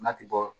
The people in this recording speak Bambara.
N'a ti bɔ